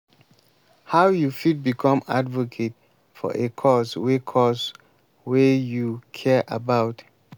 how you fit become advocate for a cause wey cause wey you care about?